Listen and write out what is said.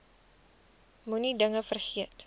moenie dinge vergeet